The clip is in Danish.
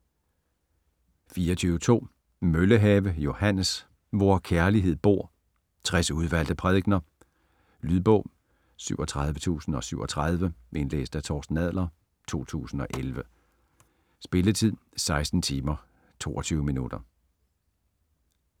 24.2 Møllehave, Johannes: Hvor kærlighed bor: 60 udvalgte prædikener Lydbog 37037 Indlæst af Torsten Adler, 2011. Spilletid: 16 timer, 22 minutter.